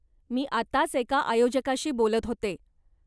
मी आताच एका आयोजकाशी बोलत होते.